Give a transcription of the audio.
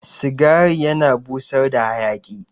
Cigari yana busar da hayaki